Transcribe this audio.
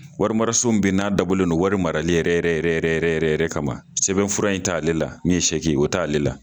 Warimaso min bɛ n'a dabɔlen do wari marali yɛrɛ yɛrɛ yɛrɛ yɛrɛ kama sɛbɛn fura in t' ale la min ye o t'ale la.